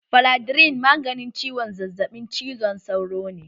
Faladrin maganin ciwon zazzaɓin cizon sauro ne